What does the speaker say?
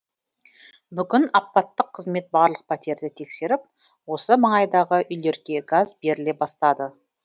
бүгін апаттық қызмет барлық пәтерді тексеріп осы маңайдағы үйлерге газ беріле бастады